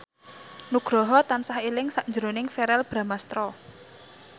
Nugroho tansah eling sakjroning Verrell Bramastra